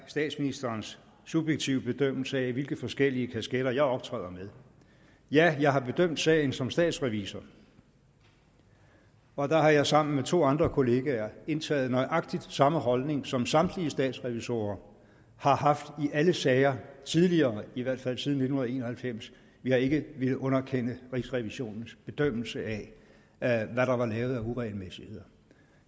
statsministerens subjektive bedømmelse af hvilke forskellige kasketter jeg optræder med ja jeg har bedømt sagen som statsrevisor og der har jeg sammen med to andre kollegaer indtaget nøjagtig samme holdning som samtlige statsrevisorer har haft i alle sager tidligere i hvert fald siden nitten en og halvfems vi har ikke villet underkende rigsrevisionens bedømmelse af hvad der var lavet af uregelmæssigheder